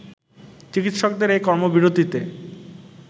চিকিৎসকদের এ কর্মবিরতিতে